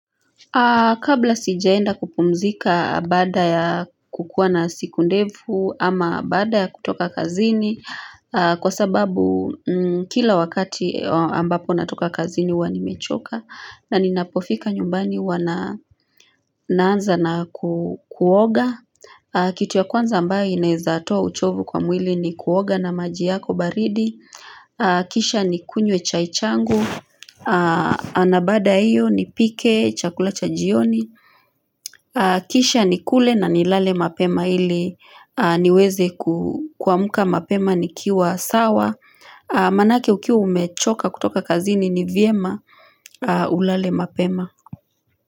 Kabla sijaenda kupumzika baada ya kukuwa na siku ndefu ama baada ya kutoka kazini kwa sababu kila wakati ambapo natoka kazini huwa nimechoka na ninapofika nyumbani huwa naanza na kuoga. Kitu ya kwanza ambayo inaweza toa uchovu kwa mwili ni kuoga na maji yako baridi Kisha ni kunywe chai changu na baada ya iyo nipike, chakula cha jioni Kisha ni kule na nilale mapema ili niweze kuamka mapema nikiwa sawa Manake ukiwa umechoka kutoka kazini ni vyema Ulale mapema.